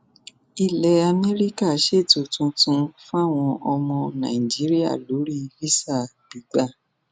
ilẹ amẹríkà ṣètò tuntun fáwọn ọmọ nàìjíríà lórí vápá gbígbà